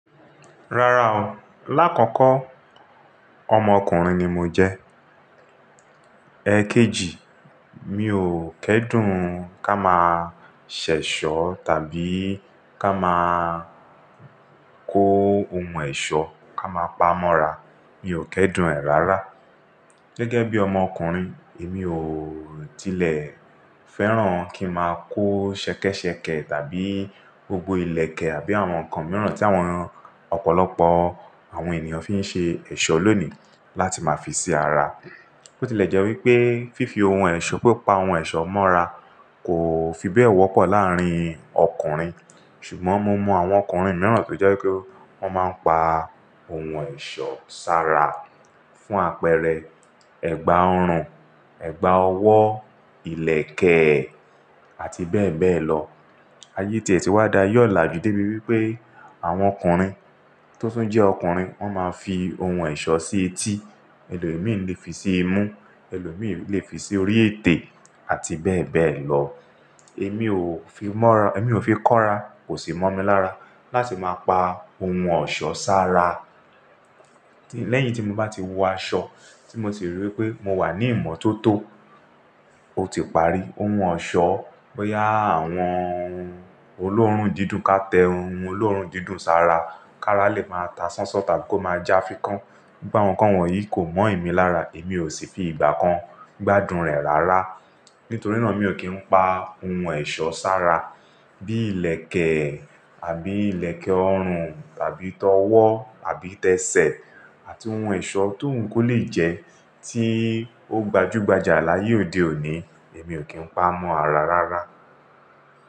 Rárá o. Láàkọ́kọ́ ọmọkùnrin ni mo jẹ́. Mi ò kẹ́dùn ká máa ṣẹ̀ṣọ́ tàbí ká máa kó ohun ẹ̀ṣọ́ ká máa pamọ́ra. Mi ò kẹ́dùn ẹ̀ rárá. Gẹ́gẹ́bí ọmọkùnrin, èmi ò tilẹ̀ fẹ́ràn kí n máa kó ṣẹkẹ́ṣẹkẹ̀ tàbí gbogbo ìlẹ̀kẹ̀ àbí àwọn nǹkan mìíràn tí àwọn ọ̀pọ̀lọpọ̀ àwọn ènìyàn fi ń ṣe ẹ̀ṣọ́ lónìí láti máa fi sí ara. Bio ti lè jẹ́ wípé fífi ohun ẹ̀ṣọ́, pi pa ohun ẹ̀ṣọ́ mọ́ra kò fi bẹ́ẹ̀ wọ́pọ̀ láàrín ọkùnrin. Ṣùgbọ́n mo mọ àwọn ọkùnrin mìíràn tó jẹ́ wípé wọ́n máa ń pa ohun ẹ̀ṣọ́ sára fún àpẹẹrẹ ẹ̀gbà ọrùn, ẹ̀gbà ọwọ́, ìlẹ̀kẹ̀, àti bẹ́ẹ̀ bẹ́ẹ̀ lọ. Ayé tíe tì wá da aye olàjú dé bí wípé àwọn ọkùnrin tó tun jẹ́ ọkùnrin, wọ́n máa ń fi ohun ẹ̀ṣọ́ sí etí, ẹlòmí lè fi sí imú, ẹlòmí lè fi sí orí ètè àti bẹ́ẹ̀ bẹ́ẹ̀ lọ. Èmi ò fi mọ́ra, èmi ò fi kọ́ra, kò sì mọ̀ mí lára láti máa pa ohun ọ̀ṣọ́ sára. Lẹ́yìn tí mo bá ti wọ aṣọ tí mo sì rí wípé mo wà ní ìmọ́tótó, ó ti parí. Ohun ọ̀ṣọ́, bóyá àwọn olóòórùn dídùn ká tẹ ohun olóòórùn dídùn sára, ká rá lè máa ta sánsán tàbí kó máa já fíkán. Báwo nǹkan wọ̀nyí kò mọ̀ mí lára, èmi ò sì fi ìgbà kan gbádùn rẹ̀ rárá. Nítorí náà mi ò kí ń pa ohun ẹ̀ṣọ́ sára bíi ìlẹ̀kẹ̀ àbí ìlẹ̀kẹ̀ ọrùn tàbí tọ́wọ́ àbí tẹsẹ̀ àti ohun ẹ̀ṣọ́ tó wun ko lè jẹ́ tí ó gbajúgbajà láyé òde òní, èmi ò kí ń pa mọ́ra rárá.